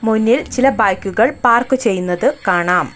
മുന്നിൽ ചില ബൈക്കുകൾ പാർക്ക് ചെയ്യുന്നത് കാണാം.